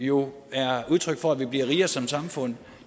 jo er udtryk for at vi bliver rigere som samfund